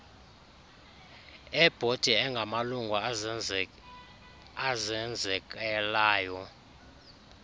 ebhodi angamalungu azenzekelayo